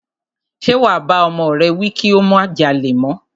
Ṣe wà bá ọmọ rẹ wí kí ó má jalè mọ́?